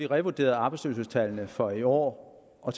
revurderet arbejdsløshedstallene for i år og